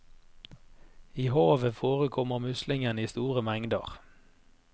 I havet forekommer muslingene i store mengder.